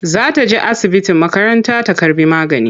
Za ta je asibiti makaranta ta karɓi magani.